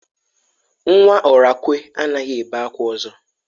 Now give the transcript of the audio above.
Nwa Orakwe anaghi ebe akwa ozo.